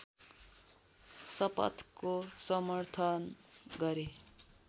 शपथको समर्थन गरे